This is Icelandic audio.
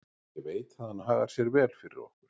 Ég veit að hann hagar sér vel fyrir okkur.